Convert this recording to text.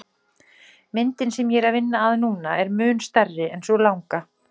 Myndin sem ég er að vinna að núna er mun stærri en sú langa.